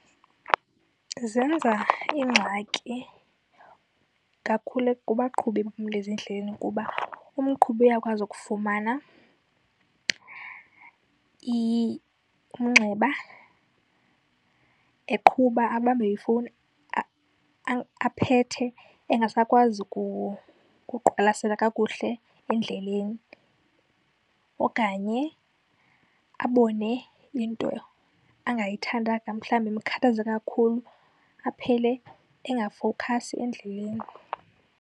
Zenza iingxaki kakhulu kubaqhubi ezindleleni. Kuba umqhubi uyakwazi ukufumana umnxeba eqhuba, abambe ifowuni aphethe engasakwazi kuqwalasela kakuhle endleleni. Okanye abone into angayithandanga, mhlawumbi emkhathaza kakhulu, aphele engafowukhasi endleleni.